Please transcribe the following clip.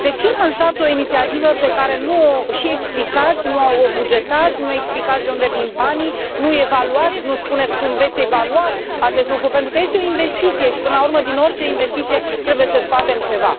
de ce lansați o inițiativă pe care nu o și explicați, nu o bugetați, nu explicați de unde vin banii, nu evaluați, nu spuneți cum veți evalua acest lucru, pentru că este o investiție și, până la urmă, din orice investiție trebuie să scoatem ceva.